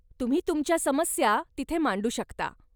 तुम्ही तुमच्या समस्या तिथे मांडू शकता.